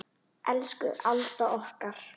Elsku Alda okkar.